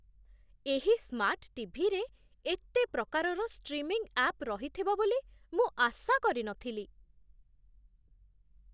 ଏହି ସ୍ମାର୍ଟ ଟି.ଭି.ରେ ଏତେ ପ୍ରକାରର ଷ୍ଟ୍ରିମିଂ ଆପ୍ ରହିଥିବ ବୋଲି ମୁଁ ଆଶା କରିନଥିଲି!